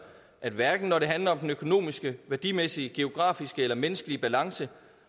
at hverken når det handler om den økonomiske værdimæssige geografiske eller menneskelig balance